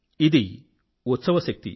ఇది ఉత్సవశక్తి